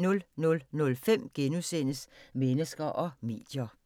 00:05: Mennesker og medier *